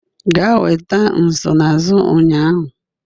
Gaa nweta nsonaazụ ụnyaahụ